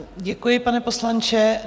Děkuji, pane poslanče.